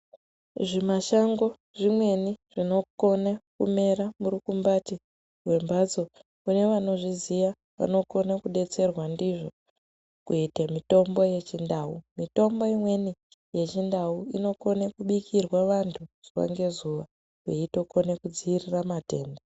Zvimashango zvimweni zvinokone kumera murukumbati rwembatso. Kune vanozviziva vanokone kudetserwa ndizvo kuita mitombo yechindau. Mitombo imweni yechindau inokone kubikirwa vantu zuva ngezuva veitokone kudzivirira matenda.